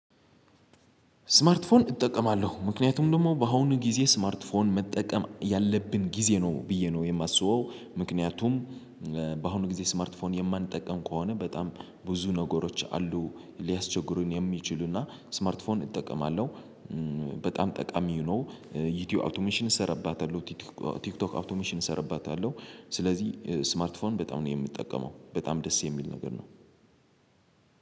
ስማርት ፎን እጠቀማለሁ ምክንያቱም ደግሞ በአሁኑ ጊዜ ስማርት ፎን መጠቀም ያለብን ጊዜ ነው ብዬ ነው የማስበው ምክንያቱም። በአሁኑ ጊዜ ስማርት ፎን የማንጠቀም ከሆነ በጣም ብዙ ነገሮች አሉ ሊያስቸግሩን የሚችሉና ስማርት ፎን እጠቀማለሁ። በጣም ጠቃሚ ነው። ዩቲዩብ አውቶሜሽን እሰራባታለሁ። ቲክቶክ ቲክቶክ አውቶሜሽን እሰራባታለሁ። ስለዚህ ስማርት ፎን በጣም ነው የምጠቀመው በጣም ደስ የሚል ነገር ነው።